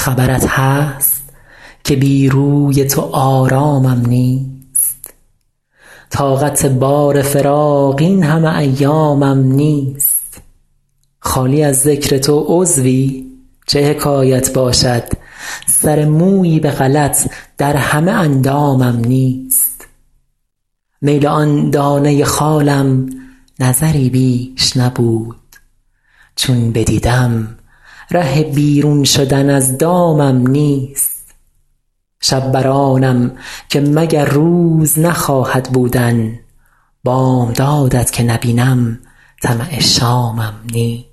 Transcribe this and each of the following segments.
خبرت هست که بی روی تو آرامم نیست طاقت بار فراق این همه ایامم نیست خالی از ذکر تو عضوی چه حکایت باشد سر مویی به غلط در همه اندامم نیست میل آن دانه خالم نظری بیش نبود چون بدیدم ره بیرون شدن از دامم نیست شب بر آنم که مگر روز نخواهد بودن بامداد ت که نبینم طمع شامم نیست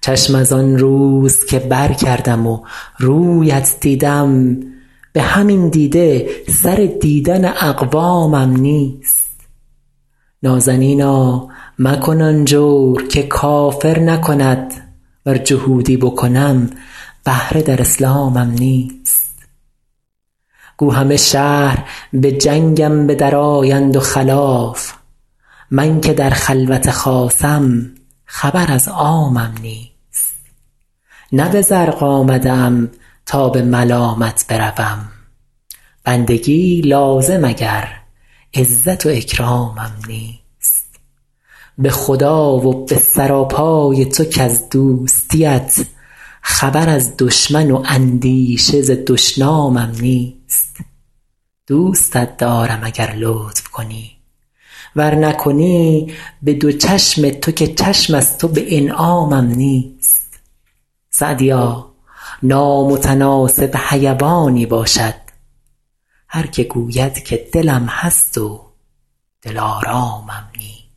چشم از آن روز که برکردم و روی ات دیدم به همین دیده سر دیدن اقوامم نیست نازنینا مکن آن جور که کافر نکند ور جهودی بکنم بهره در اسلامم نیست گو همه شهر به جنگم به درآیند و خلاف من که در خلوت خاصم خبر از عامم نیست نه به زرق آمده ام تا به ملامت بروم بندگی لازم اگر عزت و اکرامم نیست به خدا و به سراپای تو کز دوستی ات خبر از دشمن و اندیشه ز دشنامم نیست دوستت دارم اگر لطف کنی ور نکنی به دو چشم تو که چشم از تو به انعامم نیست سعدیا نامتناسب حیوانی باشد هر که گوید که دلم هست و دلآرامم نیست